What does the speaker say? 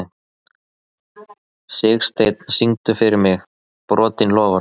Sigsteinn, syngdu fyrir mig „Brotin loforð“.